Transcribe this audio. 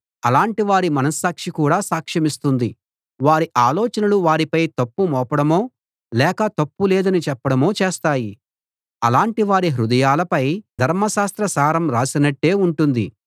అలాటి వారి మనస్సాక్షి కూడా సాక్షమిస్తుంది వారి ఆలోచనలు వారిపై తప్పు మోపడమో లేక తప్పులేదని చెప్పడమో చేస్తాయి అలాటివారి హృదయాలపై ధర్మశాస్త్ర సారం రాసినట్టే ఉంటుంది రాసినట్టే ఉంటుంది